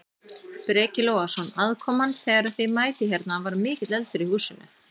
Breki Logason: Aðkoman þegar að þið mætið hérna, var mikill eldur í húsinu?